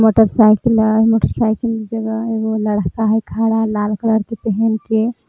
motorcycle हई motorcycle जगह एगो लड़का है खड़ा लाल कलर के पहेन के --